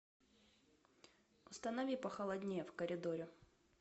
установи похолоднее в коридоре